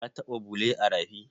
Ka taɓa bule a rafi?